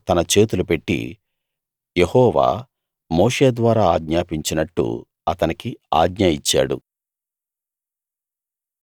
అతని మీద తన చేతులు పెట్టి యెహోవా మోషే ద్వారా ఆజ్ఞాపించినట్టు అతనికి ఆజ్ఞ ఇచ్చాడు